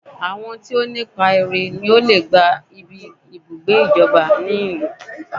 Àwọn tí ọ ní ipá rè ní ọ lè gbá ibí ibùgbé ìjọba ní ìlú